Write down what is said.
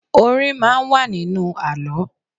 Orin máa ń wà nínú àlọ́